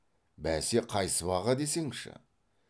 бәсе қай сыбаға десеңші